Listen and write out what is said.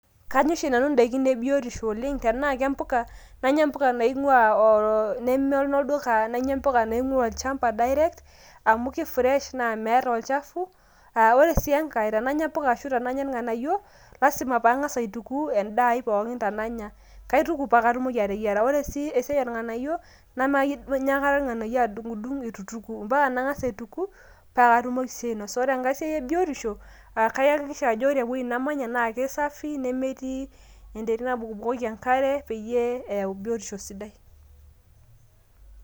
Kanya oshi nanu indaikin e biotisho oleng .tenaa kempuka ,nanya mpuka naingwa oo nneme nolduka ,nanya mpuka naingwaa olchamba direct amu ki fresh naa meeta olchafu. aa ore si enkae tenanya mpuka ashu tenanya irnganayio ,lasima pangas aituku enda ai pooki tenanya .kaituku paa katumoki ateyiera. ore sii esiai oornganayio nemanya aikata irnganayio adungdung itu aituku ,mpaka nangas aituku paa katumoki si ainosa. ore enkae siai ebiotisho ,kayakikisha ajo ore ewuei namanya naa keisafi nemetii enterit nabukbukoki enkare peyie eyau bitotisho sidai.